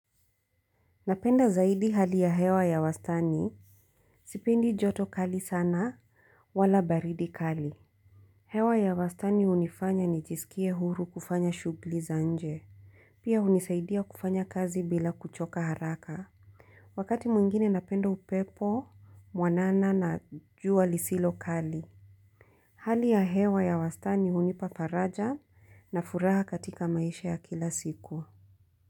Napenda zaidi hali ya hewa ya wastani. Sipendi joto kali sana wala baridi kali. Hewa ya wastani unifanya nijisikie huru kufanya shugli za nje. Pia unisaidia kufanya kazi bila kuchoka haraka. Wakati mwingine napendo upepo, mwanana na jua lisilo kali. Hali ya hewa ya wastani unipa faraja na furaha katika maisha ya kila siku.